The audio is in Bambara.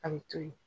A bɛ to yen